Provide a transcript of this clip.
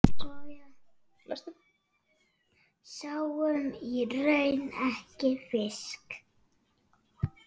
Sáum í raun ekki fisk.